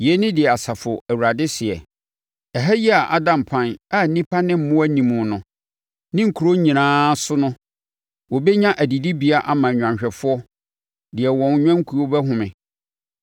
“Yei ne deɛ Asafo Awurade seɛ: ‘Ɛha yi a ada mpan a nnipa ne mmoa nni mu no; ne nkuro nyinaa so no wɔbɛnya adidibea ama nnwanhwɛfoɔ deɛ wɔn nnwankuo bɛhome.